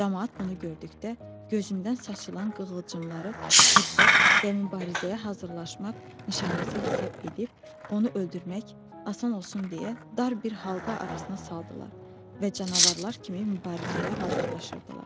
Camaat bunu gördükdə gözündən saçılan qığılcınları hiddət və mübarizəyə hazırlaşmaq nişanəsi hesab edib, onu öldürmək asan olsun deyə, dar bir halqa arasına saldılar və canavarlar kimi mübarizəyə hazırlaşırdılar.